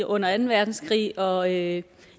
under anden verdenskrig og at